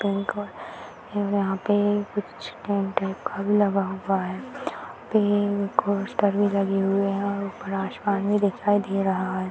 ये यहां पे लगा हुआ है यहां पर एक पोस्टर भी लगे हुए है ऊपर आसमान भी दिखाई दे रहा है।